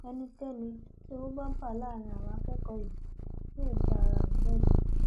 ẹnikẹni tí owó bá bá láàrin àwọn àkókò yìí yóò dá ara rẹ lẹbi